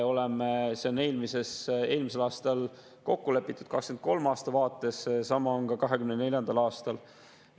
See on eelmisel aastal kokku lepitud 2023. aasta vaates, sama on ka 2024. aastal.